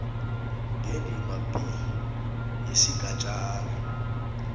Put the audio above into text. ngendima b yesigatjana